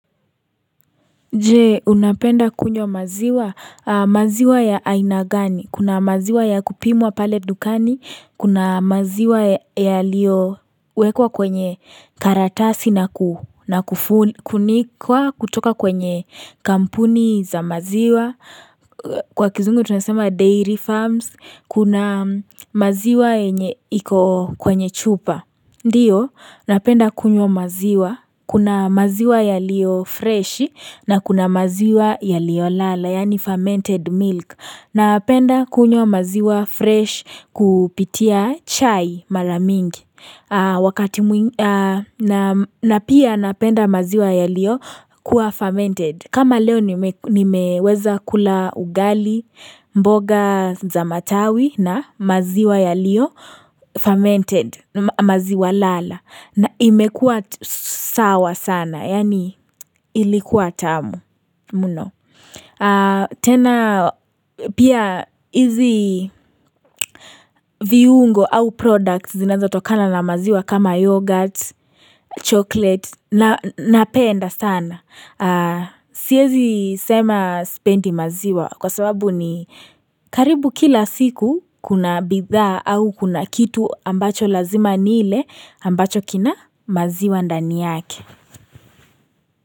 Je, unapenda kunywa maziwa, maziwa ya ainagani, kuna maziwa ya kupimwa pale dukani, kuna maziwa yaliowekwa kwenye karatasi na kufunikwa kutoka kwenye kampuni za maziwa, kwa kizungu tunasema dairy farms, kuna maziwa enye iko kwenye chupa. Ndio, napenda kunywa maziwa. Kuna maziwa ya liyo fresh na kuna maziwa ya liyo lala, yani fermented milk. Napenda kunywa maziwa fresh kupitia chai maramingi. Napia napenda maziwa ya liyo kuwa fermented. Kama leo nimeweza kula ugali, mboga zamatawi na maziwa ya liyo fermented. Maziwa lala na imekua sawa sana yani ilikuwa tamu mno tena pia hizi viungo au products zinazotokana na maziwa kama yoghurt chocolate na penda sana siezi sema spendi maziwa kwa sababu ni karibu kila siku kuna bidhaa au kuna kitu ambacho lazima nile ambacho kina maziwa ndani yake.